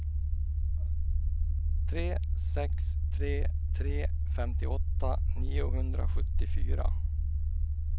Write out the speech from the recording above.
tre sex tre tre femtioåtta niohundrasjuttiofyra